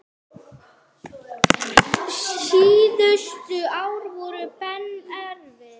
Síðustu ár voru Benna erfið.